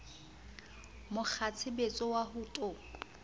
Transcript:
mo kgwatshebetso wa ho to